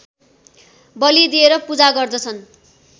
बली दिएर पूजा गर्दछन्